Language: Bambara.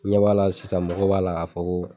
N ɲɛ b'a la sisan mɔgɔw b'a la k'a fɔ ko